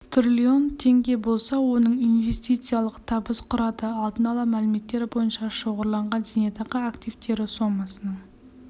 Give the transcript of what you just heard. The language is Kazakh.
трлн теңге болса оның инвестициялық табыс құрады алдын ала мәліметтер бойынша шоғырланған зейнетақы активтері сомасының